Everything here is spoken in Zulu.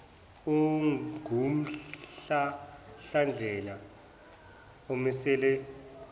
ongumhlahlandlela omiselwe kuleso